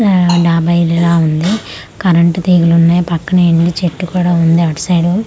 ఆ డాబా ఇల్లులా ఉంది కరెంట్ తీగలు ఉన్నాయ్ పక్కనే ఇన్లు చెట్టు కూడా ఉంది అటు సైడ్ --